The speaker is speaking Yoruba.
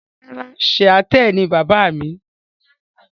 Rárà, Shiaṭṭẹ ni baba mi.